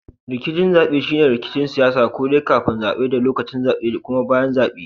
Rikicin zabe shine rikicin siyasa ko dai kafin zabe da lokacin zabe da kuma bayan zabe.